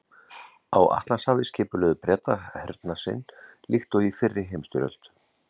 Á Atlantshafi skipulögðu Bretar hernað sinn líkt og í fyrri heimsstyrjöld.